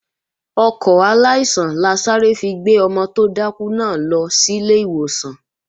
Ọkọ̀ aláìsàn la sáré fi gbé ọmọ tó dákú náà lọ sílé ìwòsàn